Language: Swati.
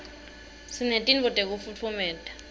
sinetinto tekufutfumata